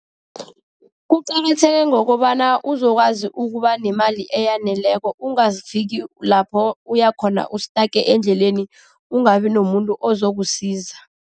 Kuqakatheke ngokobana uzokwazi ukuba nemali eyaneleko, ungafiki lapho uyakhona u-stuck endleleni ungabi nomuntu ozokusiza.